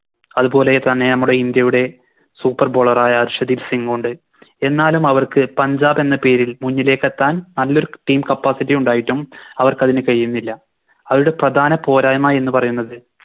അതുപോലെ തന്നെ നമ്മുടെ ഇന്ത്യയുടെ Super bowler ആയ ശ്രുതിക് സിങ്ങുമുണ്ട് എന്നാലും അവർക്ക് പഞ്ചാബെന്ന പേരിൽ മുന്നിലേക്കെത്താൻ നല്ലൊരു Team capacity ഉണ്ടായിട്ടും അവർക്കതിന് കയിയുന്നില്ല അവരടെ പ്രധാന പോരായ്മ എന്ന് പറയുന്നത്